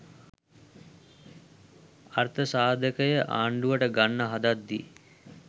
අර්ථසාධකය ආණ්ඩුවට ගන්න හදද්දී